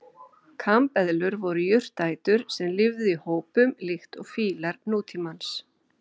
Kambeðlur voru jurtaætur sem lifðu í hópum líkt og fílar nútímans.